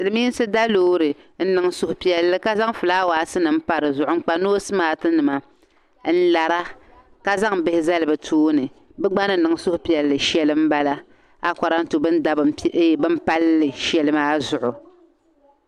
Silimiinsi da loori n nin suhi piɛli ka nin flawaasi pa di zuɣu n kpa nosi mati nima n lara ka zaŋ bihi zali bi tooni bi gba ni niŋ suhupiɛlli shɛli n bala akɔran tu bini da bini palli shɛli maa zuɣu.